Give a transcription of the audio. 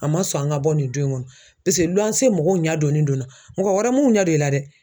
A man sɔn an ka bɔ nin du in kɔnɔ paseke luwanse mɔgɔw ɲɛdɔnnen do n na mɔgɔ wɛrɛw mun ɲɛ don i la dɛ.